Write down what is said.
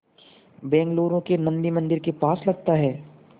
बेंगलूरू के नन्दी मंदिर के पास लगता है